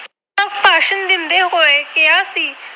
ਹੋਏ ਕਿਹਾ ਸੀ